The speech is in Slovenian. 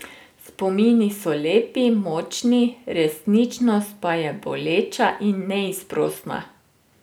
Spomini so lepi, močni, resničnost pa je boleča in neizprosna.